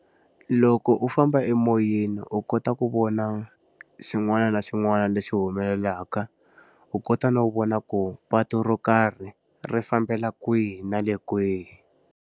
Loko u famba emoyeni u kota ku vona xin'wana na xin'wana lexi humelelaka. U kota no vona ku patu ro karhi, ri fambela kwihi na le kwihi.